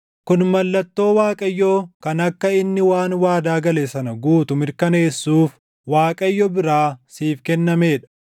“ ‘Kun mallattoo Waaqayyoo kan akka inni waan waadaa gale sana guutu mirkaneessuuf Waaqayyo biraa siif kennamee dha: